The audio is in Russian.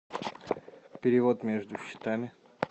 перевод между счетами